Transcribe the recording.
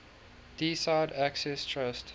deeside access trust